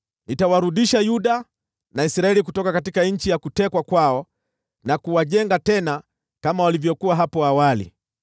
Nitawarudisha Yuda na Israeli kutoka nchi ya kutekwa kwao, na kuwajenga tena kama walivyokuwa hapo awali.